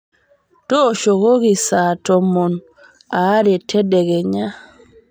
tooshokoki saa tomon aare tedekenya